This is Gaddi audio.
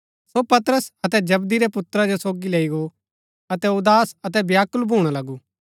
सो पतरस अतै जबदी रै पुत्रा जो सोगी लैई गो अतै उदास अतै व्याकुल भूणा लगु